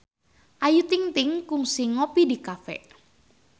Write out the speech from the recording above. Ayu Ting-ting kungsi ngopi di cafe